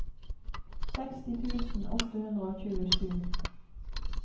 seksti tusen åtte hundre og tjuesju